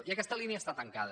i aquesta línia està tancada